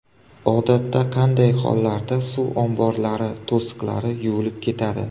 Odatda qanday hollarda suv omborlari to‘siqlari yuvilib ketadi?